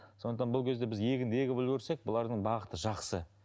сондықтан бұл кезде біз егінді егіп үлгерсек бұлардың бағыты жақсы